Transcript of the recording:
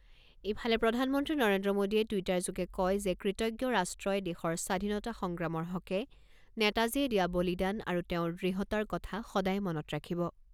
ইফালে প্ৰধানমন্ত্ৰী নৰেন্দ্ৰ মোদীয়ে টুইটাৰযোগে কয় যে কৃতজ্ঞ ৰাষ্ট্ৰই দেশৰ স্বাধীনতা সংগ্ৰামৰ হকে নেতাজীয়ে দিয়া বলিদান আৰু তেওঁৰ দৃঢ়তাৰ কথা সদায় মনত ৰাখিব।